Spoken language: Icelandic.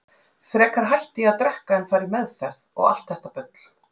Frekar hætti ég að drekka en að fara í meðferð, og allt þetta bull.